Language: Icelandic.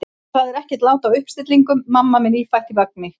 Það er ekkert lát á uppstillingum: mamma með nýfætt í vagni.